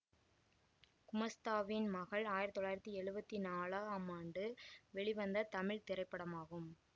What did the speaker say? குமாஸ்தாவின் மகள் ஆயிரத்தி தொள்ளாயிரத்தி எழுவத்தி நாலாம் ஆண்டு வெளிவந்த தமிழ் திரைப்படமாகும்